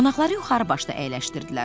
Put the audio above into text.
Qonaqları yuxarı başda əyləşdirdilər.